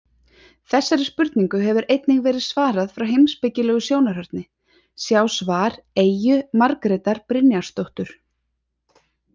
Þessari spurningu hefur einnig verið svarað frá heimspekilegu sjónarhorni, sjá svar Eyju Margrétar Brynjarsdóttur.